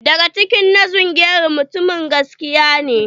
Dagaci na zungeru mutumin gaskiya ne.